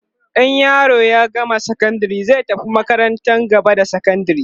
in yaro ya gama sakandari zai tafi makarantar gaba da sakandari